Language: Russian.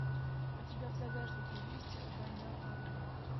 у тебя в загашнике есть война анны